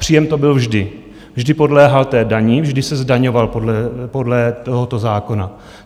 Příjem to byl vždy, vždy podléhal té dani, vždy se zdaňoval podle tohoto zákona.